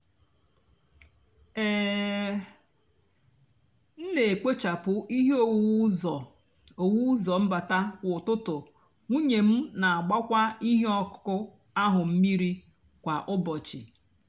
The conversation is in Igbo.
um m nà-èkpochapụ íhè owuwu úzọ owuwu úzọ mbata kwá útụtú nwúnyé m nà-àgbakwá íhè ọkụkụ áhụ mmírí kwá úbọchị.